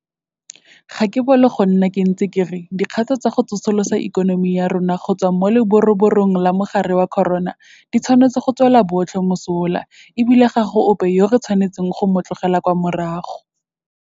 Ga ke a bolo go nna ke ntse ke re dikgato tsa go tsosolosa ikonomi ya rona go tswa mo leroborobong la mogare wa corona di tshwanetse go tswela botlhe mosola e bile ga go ope yo re tshwanetseng go motlogela kwa morago.